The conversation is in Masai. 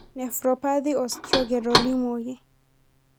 nephropathy o stroke etolimuoki.